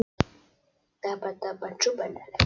Það skiptir öllu að halda peningamönnunum við efnið.